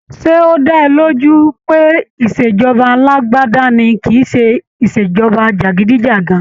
Ṣé ọ́ dá ẹ lójú pé ìṣèjọba alágbádá ni kìíse ìṣèjọba jàgídíjàgan?